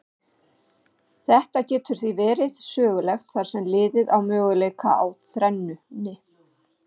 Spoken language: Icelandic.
Þetta getur því verið sögulegt þar sem liðið á möguleika á þrennunni.